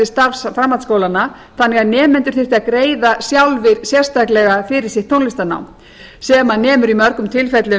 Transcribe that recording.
starf framhaldsskólanna þannig að nemendur þyrftu að greiða sjálfir sérstaklega fyrir sitt tónlistarnám sem nemur í mörgum tilfellum